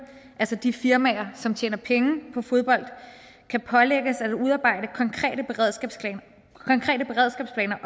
altså de firmaer som tjener penge på fodbold kan pålægges at udarbejde konkrete beredskabsplaner